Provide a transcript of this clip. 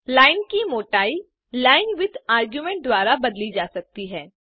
line की मोटाई linewidth argument द्वारा बदली जा सकती है